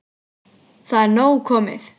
Það er nóg komið.